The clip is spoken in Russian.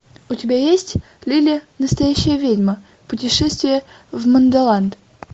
у тебя есть лили настоящая ведьма путешествие в мандолан